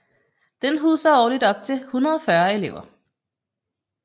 Den huser årligt op til 140 elever